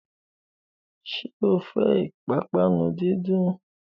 Sọ fẹ́ ìpápánu díndín?